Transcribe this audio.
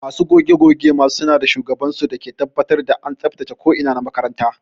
Masu goge goge ma suna da shugaban su dake tabbatar da an tsabtace ko ina na makaranta.